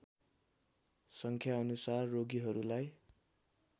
सङ्ख्या अनुसार रोगीहरूलाई